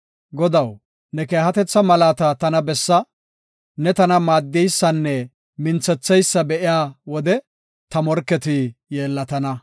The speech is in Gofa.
Godaw, ne keehatetha malaata tana bessa; ne tana maaddeysanne minthetheysa be7iya wode, ta morketi yeellatana.